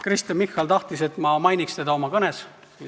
Kristen Michal tahtis, et ma mainiks teda oma kõnes.